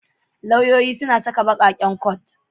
Lauyoyi suna saka baƙar coat.